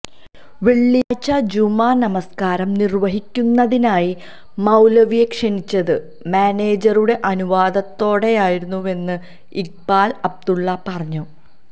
വെള്ളിയാഴ്ച്ച ജുമുഅ നമസ്കാരം നിര്വ്വഹിക്കുന്നതിനായി മൌലവിയെ ക്ഷണിച്ചത് മാനേജറുടെ അനുവാദത്തോടെയായിരുന്നുവെന്ന് ഇക്ബാല് അബ്ദുള്ള പറഞ്ഞു